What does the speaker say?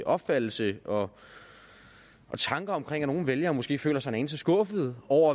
opfattelse og tanker om at nogle vælgere måske føler sig en anelse skuffede over